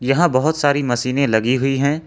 यहां बहुत सारी मशीने लगी हुई हैं।